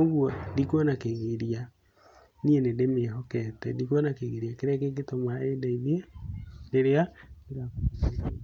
ũgũo ndikuona kĩgiria niĩ nĩ ndĩmĩhokete, ndikuona kĩgiria kĩria ngĩkĩtũma ĩndeithie rĩrĩa ndĩrabatara ũteithio.